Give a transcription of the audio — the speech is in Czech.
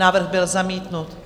Návrh byl zamítnut.